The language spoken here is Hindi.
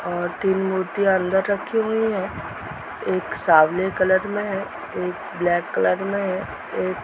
और तीन मूर्तियां अंदर रखी हुई है एक सावले कलर में है एक ब्लैक कलर में है एक --